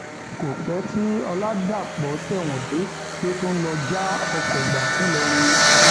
kò pẹ tí ọlàdàpọ tẹwọn dé ló tún lọọ já ọkọ gbà ńìlọrin